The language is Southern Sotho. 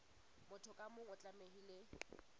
motho ka mong o tlamehile